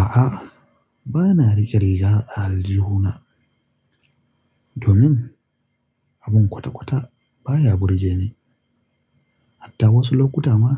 A'a, ba na rike riga a aljihuna domin abin kwata-kwata baya burge ni. Hatta wasu lokuta ma,